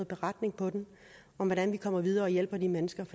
beretning om hvordan vi kommer videre og hjælper de mennesker